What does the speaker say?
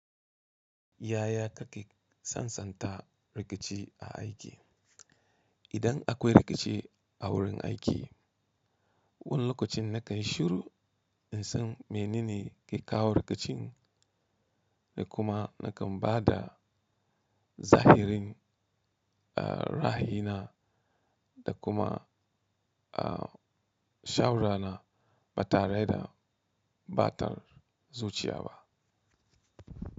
Yaya kake sansanta rikici a aiki? Idan akwai rikici a wurin aiki, wani lokacin na kanyi shuru in san menene ya kawo rikicin da kuma na kan ba da zahirin, a, ra'ayi na da kuma, a, shawara na ba tare da ɓatar zuciya ba.